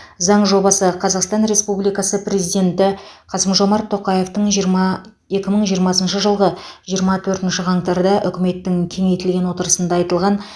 заң жобасы қазақстан республикасы президенті қасым жомарт тоқаевтың жиырма екі мың жиырмасыншы жылғы жиырма төртінші қаңтарда үкіметтің кеңейтілген отырысында айтылған